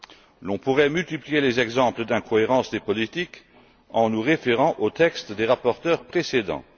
Nous pourrions multiplier les exemples d'incohérences dans les politiques, en nous référant aux textes des rapporteurs précédents.